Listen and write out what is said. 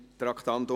Geschäft